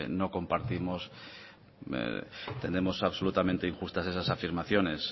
no compartimos entendemos absolutamente injustas esas afirmaciones